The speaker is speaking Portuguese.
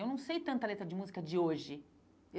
Eu não sei tanta letra de música de hoje.